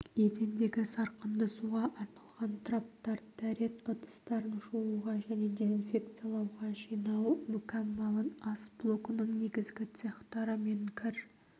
едендегі сарқынды суға арналған траптар дәрет ыдыстарын жууға және дезинфекциялауға жинау мүкәммалын ас блогының негізгі цехтары мен кір